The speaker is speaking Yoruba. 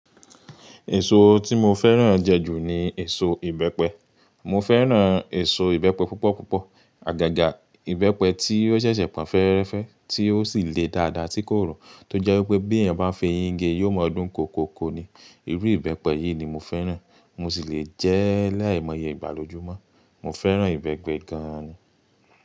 Èso tí mo fẹ́ràn jẹ jù ní èso ìbẹ́pẹ. Mo fẹ́ràn èso ìbẹ́pẹ púpọ̀ púpọ̀. Àgàgà ìbẹ́pẹ tí ó ṣẹ̀ṣẹ̀ pọn fẹ́ẹ́rẹ́fẹ́ tí ó sì le dáadáa tí kò ro, tó jẹ́ wípé bí èèyàn bá fi eyín gé yóò mọ ọdún kọkoko ni. Irú ìbẹ́pẹ yìí ni mo fẹ́ràn. Mo sì lè jẹ́ laimoye igba looju mọ́. Mo fẹ́ràn ìbẹ́pẹ gan ni.